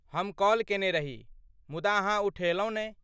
हम कॉल केने रही, मुदा अहाँ उठयलहुँ नै।